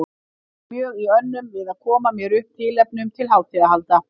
Ég var mjög í önnum við að koma mér upp tilefnum til hátíðahalda.